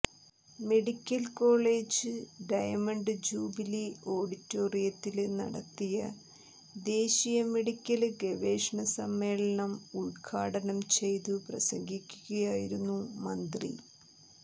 medical college diamond jubilee ഓഡിറ്റോറിയത്തില് നടത്തിയ ദേശീയ മെഡിക്കല് ഗവേഷണ സമ്മേളനം ഉദ്ഘാടനം ചെയ്തു പ്രസംഗിക്കുകയായിരുന്നു മന്ത്രി